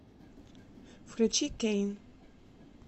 включи кэйн